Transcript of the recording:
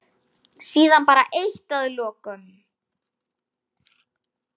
En heyrðu, segir hann ákafur.